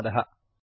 धन्यवादः